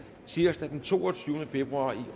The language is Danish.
tirsdag den toogtyvende februar to